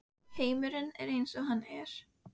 Heimurinn er eins og hann er.